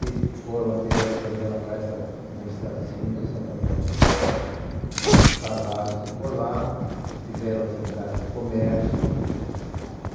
E foram direto também para esta minha cidadezinha, Santo Antônio de Posse, casaram-se por lá, tiveram atividade de comércio.